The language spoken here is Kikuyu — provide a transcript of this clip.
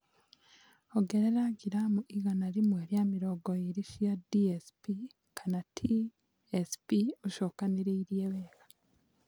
Ongerera gram igana rĩmwe rĩa mĩrongo ĩrĩ cia D.S.P OR T.S.P. ũcokanĩrĩrie wega